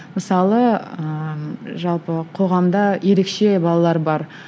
мысалы ыыы жалпы қоғамда ерекше балалар бар